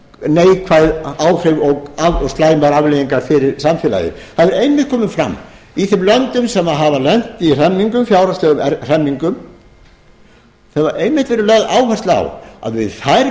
neikvæð áhrif og slæmar afleiðingar fyrir samfélagið það hefur einmitt komið fram í þeim löndum sem hafa lent í hremmingum fjárhagslegum hremmingum þar hefur einmitt verið lögð áhersla á að við þær